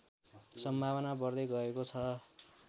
सम्भावना बढ्दै गएको छ